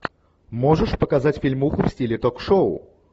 можешь показать фильмуху в стиле ток шоу